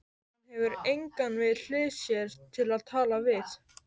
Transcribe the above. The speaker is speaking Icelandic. Hann hefur engan við hlið sér til að tala við.